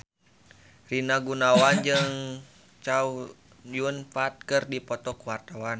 Rina Gunawan jeung Chow Yun Fat keur dipoto ku wartawan